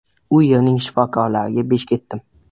U yerning shifokorlariga besh ketdim.